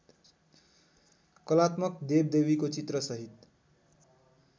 कलात्मक देवदेवीको चित्रसहित